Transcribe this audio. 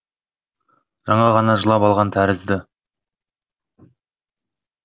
жаңа ғана жылап алған тәрізді